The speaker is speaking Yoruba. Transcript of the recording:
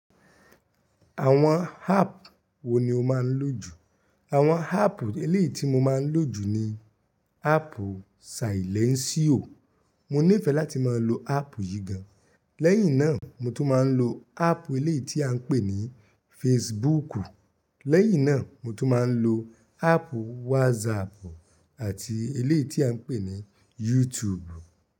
Àwọn áàp wo ni o máa ń lò jù? Àwọn áàpù eléèti mo máa ń lò jù ni áàpù Sàílénsíò, mo nífẹ̀ẹ́ láti máa lo áàpù yìí gan. Lẹ́yìn náà mo tún máa ń lo áàpù eléyìí ti à ń pè ní Fesibuúkù. Lẹ́yìn náà mo tún máa ń lo áàpù wásaàpù àti eléèti à ń pè ní Yútùùbù.